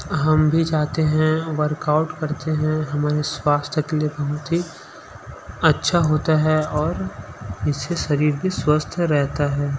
हम भी चाहते हैं वर्क आउट करते हैं हमारे स्वास्थ्य के लिए बहुत ही अच्छा होता है और इससे शरीर भी स्वस्थ रहता है।